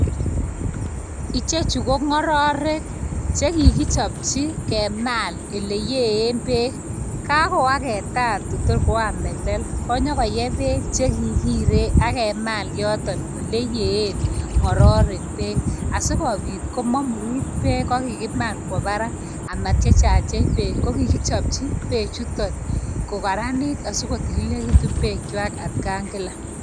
Ichekchu ko ng'ororek chekikichopchi kemal oliyiiee peek, kakoagetat kotkoam melel konyokoyee peek chekikire akemaal yootok oleyiiee ng'ororek peek asikobiit komamurit peek ko kikimal kwo barak amatiechatiech peek kokikichpchi peechutok kokaranit asikotililitu peek chwai atkankila